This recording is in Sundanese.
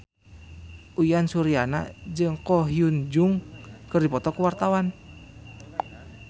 Uyan Suryana jeung Ko Hyun Jung keur dipoto ku wartawan